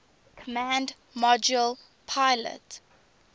command module pilot